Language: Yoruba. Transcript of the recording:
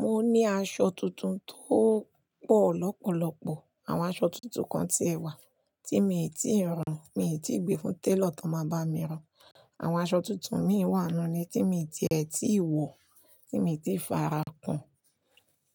Mo ní aṣọ tuntun tó pọ̀ lọ́pọ̀lọ́pọ̀. Àwọn aṣọ tuntun kan ti ẹ̀ wà, tí mi ò tíì rán, mi ò tí gbé fún tailor tó máa bá mi rán. Àwọn aṣọ tuntun mi wá nu ni tí mi ò tíì ẹ̀, tí ì wọ̀, tí mi ò tí farakun.